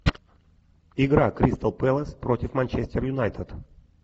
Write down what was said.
игра кристал пэлас против манчестер юнайтед